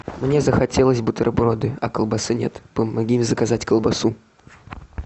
мне захотелось бутерброды а колбасы нет помоги заказать колбасу